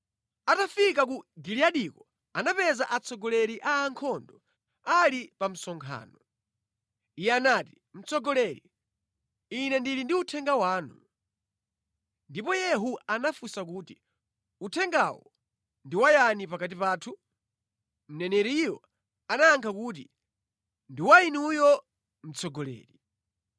Atafika ku Giliyadiko anapeza atsogoleri a ankhondo ali pa msonkhano. Iye anati, “Mtsogoleri, ine ndili ndi uthenga wanu.” Ndipo Yehu anafunsa kuti, “Uthengawo ndi wa yani pakati pathu?” Mneneriyo anayankha kuti, “Ndi wa inuyo, mtsogoleri.”